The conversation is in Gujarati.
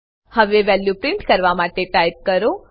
હવે વેલ્યુ પ્રિન્ટ કરવા માટે ટાઈપ કરો